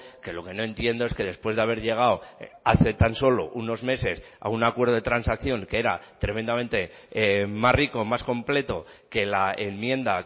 que lo que no entiendo es que después de haber llegado hace tan solo unos meses a un acuerdo de transacción que era tremendamente más rico más completo que la enmienda